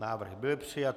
Návrh byl přijat.